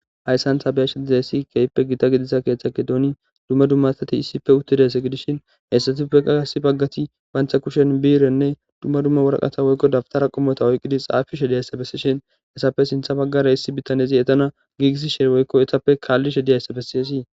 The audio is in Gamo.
Haysan ta be'ashe dizaysi kehipe gita gidiza ketha gidoni duma duma asati isipe utidaysa gidishen heysatupeka issi bagati banta kushen birene duma duma woraqata woyko dawutara qomota oyqidi xafishe diyaysa besishen izappe sinta bagara issi bitanezi etana gigisishe woyko etape kalishe diyaysa beses.